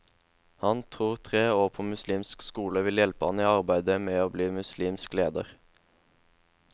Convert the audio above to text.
Han tror tre år på muslimsk skole vil hjelpe ham i arbeidet med å bli muslimsk leder.